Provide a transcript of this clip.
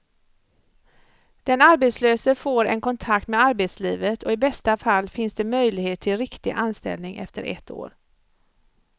Den arbetslöse får en kontakt med arbetslivet och i bästa fall finns det möjlighet till riktig anställning efter ett år.